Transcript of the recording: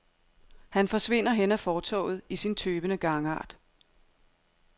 Han forsvinder hen ad fortovet i sin tøvende gangart.